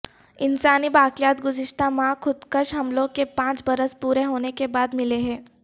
انسانی باقیات گزشتہ ماہ خودکش حملوں کے پانچ برس پورے ہونے کے بعد ملے ہیں